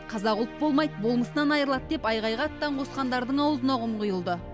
қазақ ұлт болмайды болмысынан айырылады деп айқайға аттан қосқандардың аузына құм құйылды